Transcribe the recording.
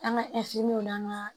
An ka n'an ga